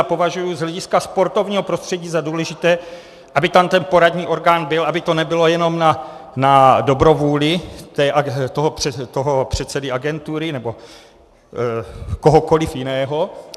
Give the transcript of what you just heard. Já považuji z hlediska sportovního prostředí za důležité, aby tam ten poradní orgán byl, aby to nebylo jenom na dobrovůli toho předsedy agentury nebo kohokoliv jiného.